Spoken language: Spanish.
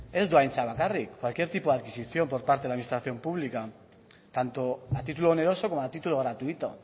ez du dohaintzat bakarrik cualquier tipo de adquisición por parte de la administración pública tanto a título oneroso como a título gratuito